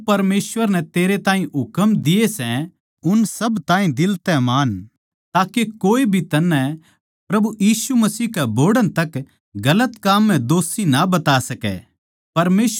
के जो परमेसवर नै थारे ताहीं हुकम दिये सै उन सब ताहीं दिल तै मान्नो ताके कोए भी थमनै प्रभु यीशु मसीह के बोहड़ण तक गलत काम म्ह दोषी ना बता सकै